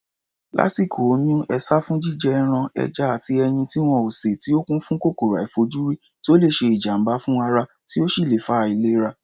Lásìkò oyún, e sá fún jíjẹ ẹran, ẹja àti ẹyin tí wọn ò sè tí ó kún fún kòkòrò àìfojúrí tó le ṣe ìjàm̀bá fún ara, tí ó sì lè fa àìlera.